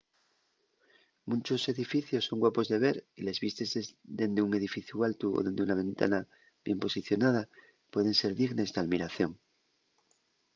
munchos edificios son guapos de ver y les vistes dende un edificu altu o dende una ventana bien posicionada pueden ser dignes d’almiración